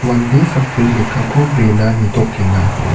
mande sakbri lekkako brena nitokenga.